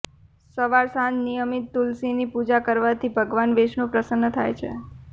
સવાર સાંજ નિયમિત તુલસીની પૂજા કરવાથી ભગવાન વિષ્ણુ પ્રસન્ન થાય છે